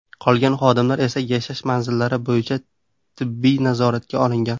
Qolgan xodimlar esa yashash manzillari bo‘yicha tibbiy nazoratga olingan.